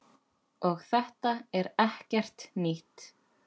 Og þetta er ekkert nýtt.